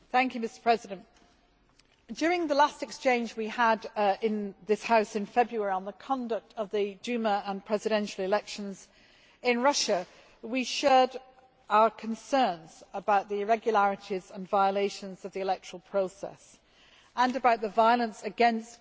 Mr President, during the last exchange we had in this House in February on the conduct of the Duma and presidential elections in Russia, we shared our concerns about the irregularities and violations of the electoral process and about the violence against